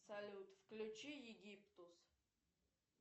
салют включи египтус